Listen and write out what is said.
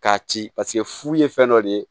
K'a ci paseke furu ye fɛn dɔ de ye